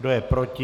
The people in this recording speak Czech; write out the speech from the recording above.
Kdo je proti?